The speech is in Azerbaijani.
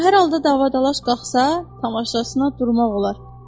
Amma hər halda dava-dalaş qalxsa, tamaşasına durmaq olar.